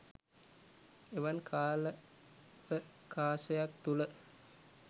එවන් කාලාවකාශයක් තුළ